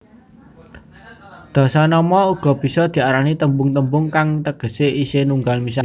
Dasanama uga bisa diarani tembung tembung kang tegesé isih nunggal misah